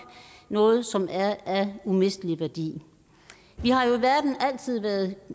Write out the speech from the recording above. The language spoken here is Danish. noget som er af umistelig værdi vi har jo i verden altid været